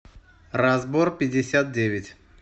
разборпятьдесятдевять